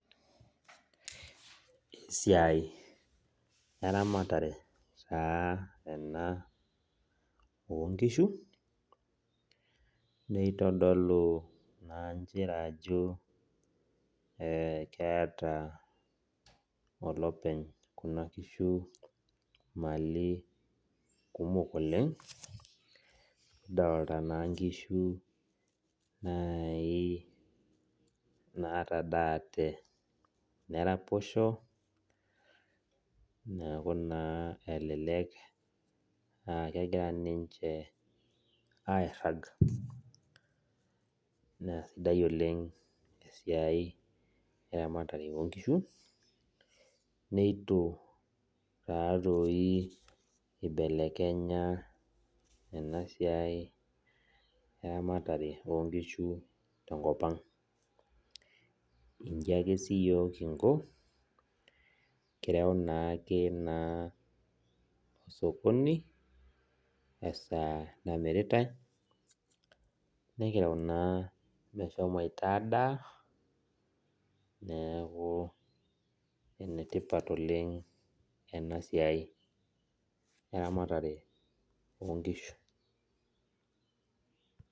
Esiai eramatare taa ena onkishu, nitodolu naa njere ajo keeta olopeny kuna kishu mali kumok oleng, kidolta naa nkishu nai natadaate neraposho, neeku naa elelek akegira ninche airrag. Naa sidai oleng esiai eramatare onkishu, neitu natoi ibelekenya enasiai eramatare onkishu tenkop ang. Iji ake siyiok kinko, kireu naake naa osokoni esaa namiritai, nikireu naa meshomoita adaa, neeku enetipat oleng enasiai eramatare onkishu.